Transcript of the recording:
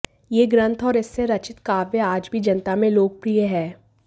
यह ग्रंथ और इसमें रचित काव्य आज भी जनता में लोकप्रिय है